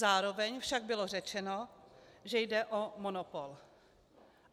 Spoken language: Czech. Zároveň však bylo řečeno, že jde o monopol.